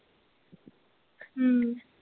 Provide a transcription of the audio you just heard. ਹਮ